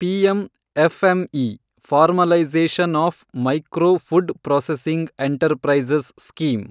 PM FME , formalisation of micro food processing enterprises scheme